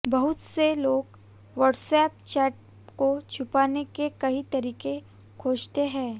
बहुत से लोग व्हाट्सएप चैट को छुपाने के कई तरीके खोजते हैं